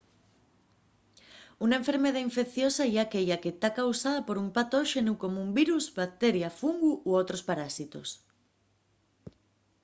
una enfermedá infecciosa ye aquella que ta causada por un patóxenu como un virus bacteria fungu o otros parásitos